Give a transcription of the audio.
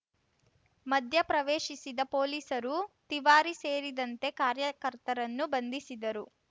ಮಧ್ಯಪ್ರವೇಶಿಸಿದ ಪೊಲೀಸರು ತಿವಾರಿ ಸೇರಿದಂತೆ ಕಾರ್ಯಕರ್ತರನ್ನು ಬಂಧಿಸಿದರು